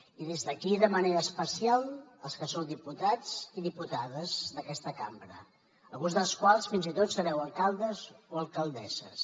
i des d’aquí de manera especial als que sou diputats i diputades d’aquesta cambra alguns dels quals fins i tot sereu alcaldes o alcaldesses